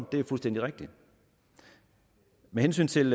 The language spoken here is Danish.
det er fuldstændig rigtigt med hensyn til